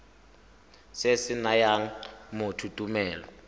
se se nayang motho tumelelo